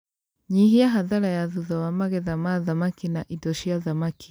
Nyihia hathara ya thutha wa magetha ma thamaki na indo cia thamaki